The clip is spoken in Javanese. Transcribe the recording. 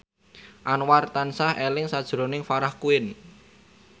Anwar tansah eling sakjroning Farah Quinn